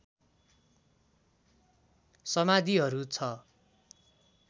समाधिहरू छ